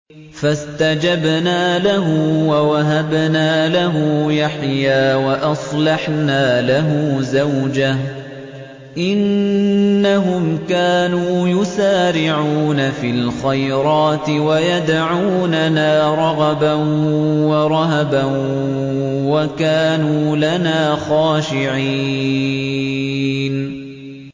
فَاسْتَجَبْنَا لَهُ وَوَهَبْنَا لَهُ يَحْيَىٰ وَأَصْلَحْنَا لَهُ زَوْجَهُ ۚ إِنَّهُمْ كَانُوا يُسَارِعُونَ فِي الْخَيْرَاتِ وَيَدْعُونَنَا رَغَبًا وَرَهَبًا ۖ وَكَانُوا لَنَا خَاشِعِينَ